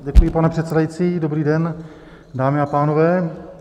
Děkuji, pane předsedající, dobrý den, dámy a pánové.